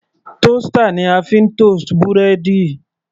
Toaster ni a fi ń toast búrẹ́dì.